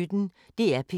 DR P1